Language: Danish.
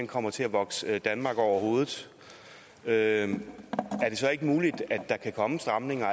kommer til at vokse danmark over hovedet er er det så ikke muligt at der kan komme stramninger